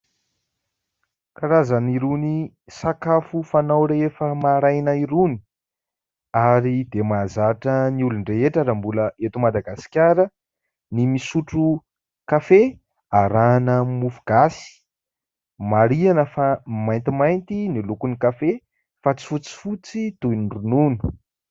Karazany irony sakafo fanao rehefa maraina irony ary dia mahazatra ny olon-drehetra raha mbola eto Madagasikara ny misotro kafe arahina mofogasy, marihana fa maintimainty ny lokony kafe fa tsy fotsifotsy toy ny ronono.